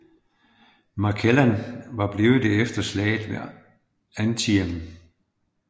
McClellan var blevet det efter slaget ved Antietam